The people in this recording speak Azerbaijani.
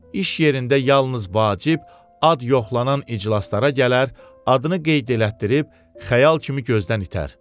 İş yerində yalnız vacib, ad yoxlanan iclaslara gələr, adını qeyd elətdirib xəyal kimi gözdən itər.